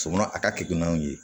Somɔɔ a ka keguwan ye